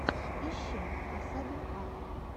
ищи асабин арт